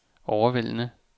overvældende